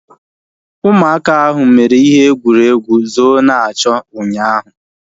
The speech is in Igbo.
Ụmụaka ahu mere ihe egwuregwu zoo-na-achọ ụnyaahụ